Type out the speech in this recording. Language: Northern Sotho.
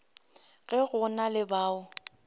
ge go na le bao